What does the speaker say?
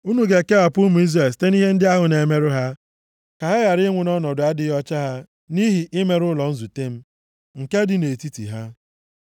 “ ‘Unu ga-ekewapụ ụmụ Izrel site nʼihe ndị ahụ na-emerụ ha, ka ha ghara ịnwụ nʼọnọdụ adịghị ọcha ha nʼihi imerụ ụlọ nzute m, nke dị nʼetiti ha.’ ”